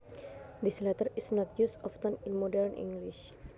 This letter is not used often in modern English